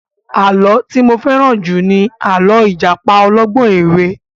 Àlọ́ tí mo fẹ́ràn jù ni àlọ́ ìjàpá ọlọ́gbọ́n ẹ̀wẹ́